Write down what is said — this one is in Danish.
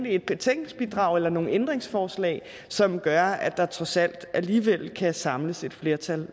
et betænkningsbidrag eller nogle ændringsforslag som gør at der trods alt alligevel kan samles et flertal